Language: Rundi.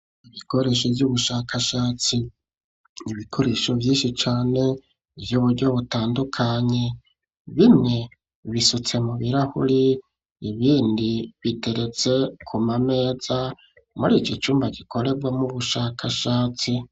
Ibikoresho vy'ubushakashatsi. Ibikoresho vyinshi cane vy'uburyo butandukanye. Bimwe bisutse mu birahuri, ibindi biteretse kuma meza, muri iki cumba gikorewamwo ubushakashatsi.